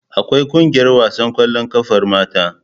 Akwai ƙungiyar wasan ƙwallon ƙafar mata.